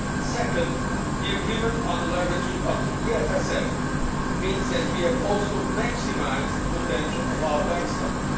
Second, the agreement on the leveraging of the EFSF means that we have also maximised the potential of our backstops.